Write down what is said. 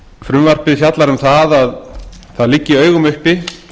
frumvarpið fjallar um að það liggi í augum uppi